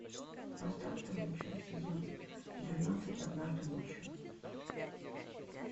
поставь вторую часть сезона двенадцать однажды ночью